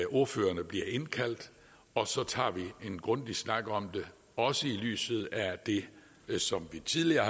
ordførerne bliver indkaldt og så tager vi en grundig snak om det også i lyset af det som vi tidligere